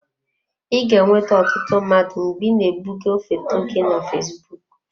I ga-enweta ọtụtụ mmadụ mgbe ị na-ebugo foto gị na fesbụụk.